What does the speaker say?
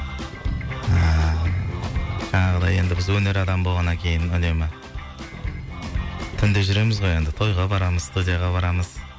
ыыы жаңағыдай енді біз өнер адамы болғаннан кейін үнемі түнде жүреміз ғой енді тойға барамыз студияға барамыз